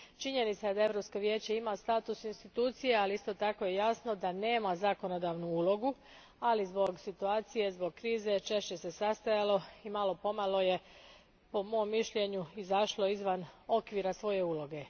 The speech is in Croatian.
Činjenica je da Europsko vijeće ima status institucije, ali isto je tako jasno da nema zakonodavnu ulogu, ali zbog situacije, zbog krize, češće se sastajalo i malo po malo je, po mom mišljenju, izašlo izvan okvira svoje uloge.